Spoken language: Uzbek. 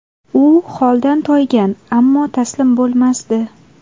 U holdan toygan, ammo taslim bo‘lmasdi.